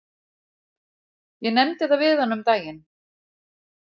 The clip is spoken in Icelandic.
Ég nefndi það við hana um daginn.